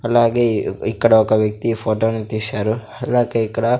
అలాగే ఇక్కడ ఒక వ్యక్తి ఫోటోను తీసారు అలాగే ఇక్కడ--